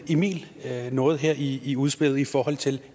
emil noget her i i udspillet i forhold til